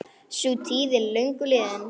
Sú tíð er löngu liðin.